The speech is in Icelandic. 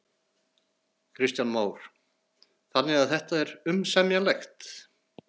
Kristján Már: Þannig að þetta er umsemjanlegt?